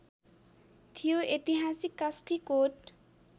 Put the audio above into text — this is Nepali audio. थियो ऐतिहासिक कास्कीकोट